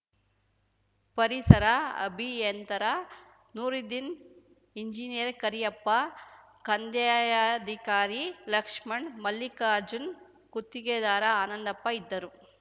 ಪರಿಸರ ಅಭಿಯಂತರ ನೂರುದ್ದೀನ್‌ ಎಂಜಿನಿಯರ್‌ ಕರಿಯಪ್ಪ ಕಂದಾಯಾಧಿಕಾರಿ ಲಕ್ಷ್ಮಣ್‌ ಮಲ್ಲಿಕಾರ್ಜುನ್‌ ಗುತ್ತಿಗೆದಾರ ಆನಂದಪ್ಪ ಇದ್ದರು